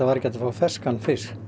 fá ferskan fisk